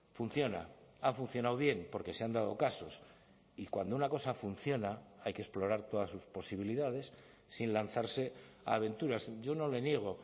funciona ha funcionado bien porque se han dado casos y cuando una cosa funciona hay que explorar todas sus posibilidades sin lanzarse a aventuras yo no le niego